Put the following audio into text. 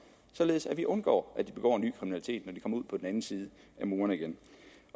således at vi undgår at de begår ny kriminalitet når de kommer ud på den anden side af murene igen